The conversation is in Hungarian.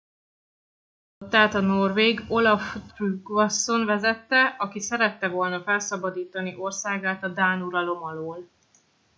ezt a flottát a norvég olaf trygvasson vezette aki szerette volna felszabadítani országát a dán uralom alól